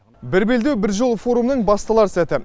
бір белдеу бір жол форумының басталар сәті